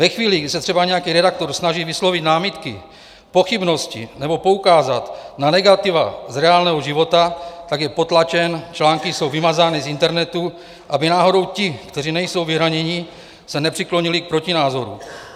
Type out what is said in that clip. Ve chvíli, kdy se třeba nějaký redaktor snaží vyslovit námitky, pochybnosti nebo poukázat na negativa z reálného života, tak je potlačen, články jsou vymazány z internetu, aby náhodou ti, kteří nejsou vyhraněni, se nepřiklonili k protinázoru.